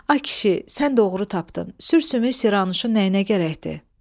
Ay kişi, sən doğru tapdın, sürsümük Siranuşun nəyinə gərəkdi?